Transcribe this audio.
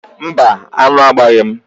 Mba, aṅụ agbaghị m.